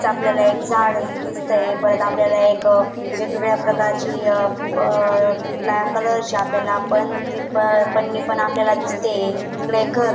आपल्याला एक झाड दिसतंय परत आपल्याला एक वेगवेगळ्या प्रकारची अ निळ्या कलर ची आपल्याला पण आपल्याला दिसते तिकडे घर--